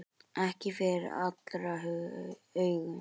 Ekki fyrir allra augum.